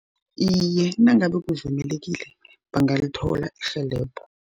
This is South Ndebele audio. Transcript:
Iye, nangabe kuvumelekile bangalithola irhelebho.